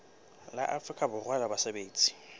la afrika borwa la basebetsi